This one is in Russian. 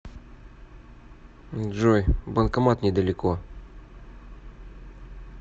джой банкомат недалеко